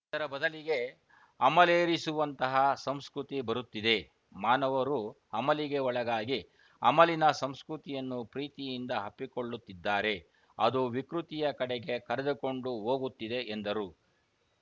ಇದರ ಬದಲಿಗೆ ಅಮೇಲೆರಿಸುವಂತಹ ಸಂಸ್ಕೃತಿ ಬರುತ್ತಿದೆ ಮಾನವರು ಅಮಲಿಗೆ ಒಳಗಾಗಿ ಅಮಲಿನ ಸಂಸ್ಕೃತಿಯನ್ನು ಪ್ರೀತಿಯಿಂದ ಅಪ್ಪಿಕೊಳ್ಳುತ್ತಿದ್ದಾರೆ ಅದು ವಿಕೃತಿಯ ಕಡೆಗೆ ಕರೆದುಕೊಂಡು ಹೋಗುತ್ತಿದೆ ಎಂದರು